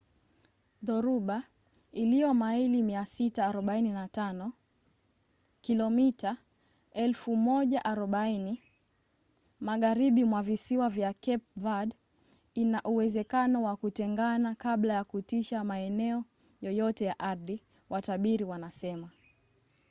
dhoruba iliyo maili 645 kilomita 1040 magharibi mwa visiwa vya cape verde ina uwezekano wa kutengana kabla ya kutisha maeneo yoyote ya ardhi watabiri wanasema